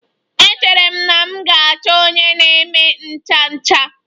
Echere m na m ga-achọ onye na-eme ncha ncha.